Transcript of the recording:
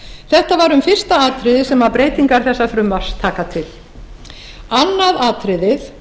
þetta var um fyrsta atriðið sem breytingar þessa frumvarps taka til annað atriðið